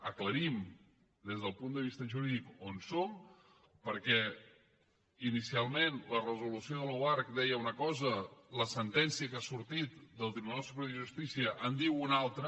aclarim des del punt de vista jurídic on som perquè inicialment la resolució de l’oarcc deia una cosa i la sentència que ha sortit del tribunal superior de justícia en diu una altra